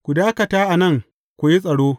Ku dakata a nan ku yi tsaro.